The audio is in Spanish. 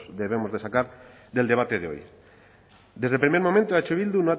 debemos de sacar del debate de hoy desde el primer momento eh bildu